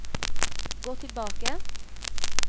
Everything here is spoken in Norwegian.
gå tilbake